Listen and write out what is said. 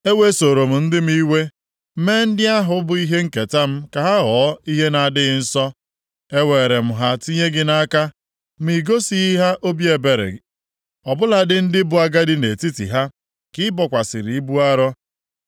Ewesoro m ndị m iwe, mee ndị ahụ bụ ihe nketa m ka ha ghọọ ihe na-adịghị nsọ. Eweere m ha tinye gị nʼaka, ma i gosighị ha obi ebere. Ọ bụladị ndị bụ agadi nʼetiti ha ka ị bokwasịrị ibu arọ.